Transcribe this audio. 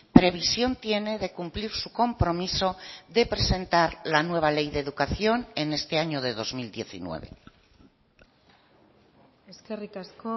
previsión tiene de cumplir su compromiso de presentar la nueva ley de educación en este año de dos mil diecinueve eskerrik asko